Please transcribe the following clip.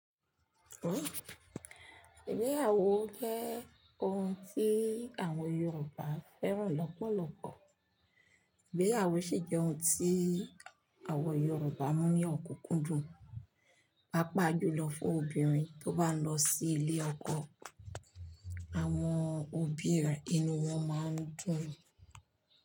Oóò, ìgbéyàwó jẹ́ ohun tí àwọn Yorùbá fẹ́ràn lọ́pọ̀lọpọ̀. Ìgbéyàwó sì jẹ́ ohun tí àwọn Yorùbá mú ní òkúkúndùn. Páapaá jù lọ fún obìnrin tó bá lọ sí ilé ọkọ, àwọn òbí rẹ̀ inú wọn máa ń dùn.